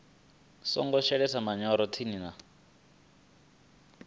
songo shelesa manyoro tsini na